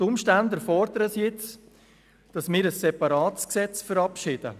Die Umstände erfordern, dass wir ein separates Gesetz verabschieden.